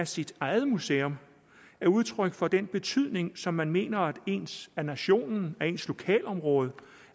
sit eget museum er udtryk for den betydning som man mener at det ens nation ens lokalområde